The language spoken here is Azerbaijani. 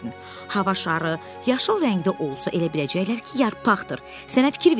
Hava şarı yaşıl rəngdə olsa, elə biləcəklər ki, yarpaqdır.